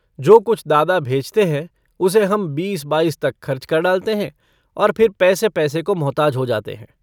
जो कुछ दादा भेजते हैं, उसे हम बीस-बाईस तक खर्च कर डालते हैं और फिर पैसे-पैसे को मुहताज हो जाते हैं।